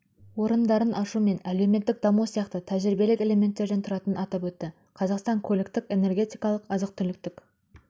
орындарын ашу мен әлеуметтік даму сияқты тәжірибелік элементтерден тұратынын атап өтті қазақстан көліктік энергетикалық азық-түліктік